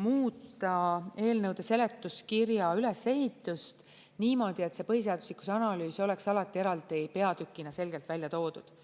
muuta eelnõude seletuskirja ülesehitust niimoodi, et see põhiseaduslikkuse analüüs oleks alati eraldi peatükina selgelt välja toodud.